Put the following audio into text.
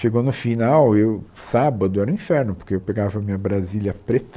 Chegou no final, e o sábado era o inferno, porque eu pegava minha brasilia preta.